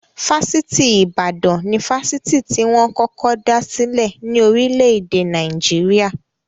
Fáṣítì Ìbàdàn ni Fásitì tí wọn kọ́kọ́ dá sílè ní orílè-èdè Naijiria.